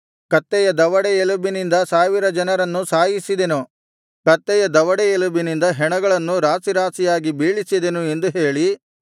ಕತ್ತೆಯ ದವಡೇ ಎಲುಬಿನಿಂದ ಸಾವಿರ ಜನರನ್ನು ಸಾಯಿಸಿದೆನು ಕತ್ತೆಯ ದವಡೇ ಎಲುಬಿನಿಂದ ಹೆಣಗಳನ್ನು ರಾಶಿರಾಶಿಯಾಗಿ ಬೀಳಿಸಿದೆನು ಎಂದು ಹೇಳಿ